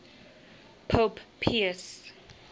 pope pius